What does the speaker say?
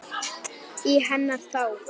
Í hennar þágu.